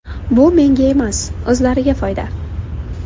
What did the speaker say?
Bu menga emas, o‘zlariga foyda.